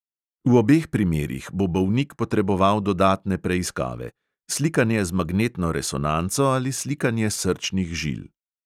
V obeh primerih bo bolnik potreboval dodatne preiskave: slikanje z magnetno resonanco ali slikanje srčnih žil.